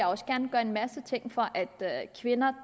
også gerne gøre en masse ting for at kvinder